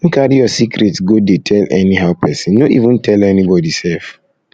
no carry your secret go dey tell anyhow pesin no even tell anybody sef